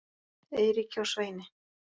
Eiríki og Sveini.